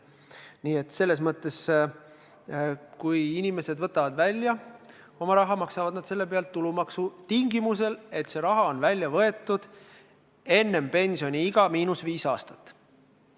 Nii et kui inimesed võtavad oma raha välja, maksavad nad selle pealt tulumaksu tingimusel, et raha on välja võetud kuni viis aastat enne pensioniea saabumist.